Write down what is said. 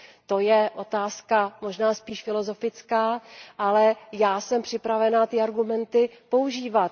To je otázka možná spíše filozofická, ale já jsem připravena ty argumenty používat.